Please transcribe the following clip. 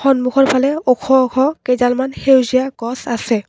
সন্মুখৰফালে ওখ ওখ কেইডালমান সেউজীয়া গছ আছে।